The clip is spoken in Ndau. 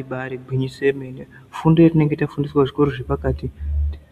Ibaari gwinyiso yemene, fundo yetinenge tafundiswa kuzvikora zvepakati,